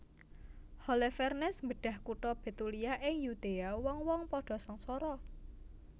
Holofernes mbedhah kutha Betulia ing Yudea wong wong padha sangsara